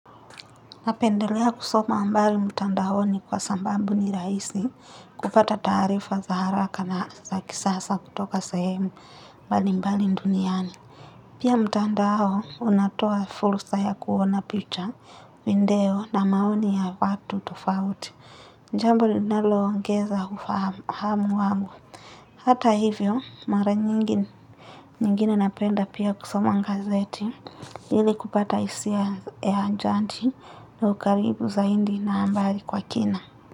Napendelea kusoma habari mtandaoni kwa sababu ni rahisi kupata taarifa za haraka na za kisasa kutoka sehemu mbalimbali duniani. Pia, mtandao unatoa fursa ya kuona picha, video na maoni ya watu tofauti. Jambo linaloongeza ufahamu wangu. Hata hivyo, mara nyingine napenda pia kusoma gazeti ili kupata hisia ya anasa na ukaribu zaidi na habari kwa kina.